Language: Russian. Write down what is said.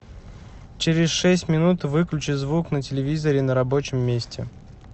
через шесть минут выключи звук на телевизоре на рабочем месте